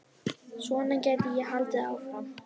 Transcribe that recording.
Svona gæti ég haldið áfram.